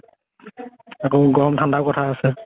আকৌ গৰম ঠান্দউ কথা আছে